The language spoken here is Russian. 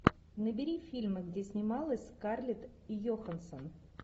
набери фильмы где снималась скарлетт йоханссон